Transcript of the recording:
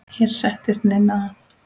Hér settist Ninna að.